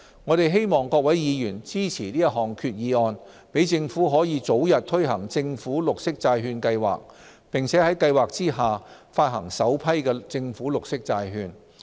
我希望各位議員支持這項決議案，讓政府可早日推行政府綠色債券計劃，並在計劃下發行首批政府綠色債券。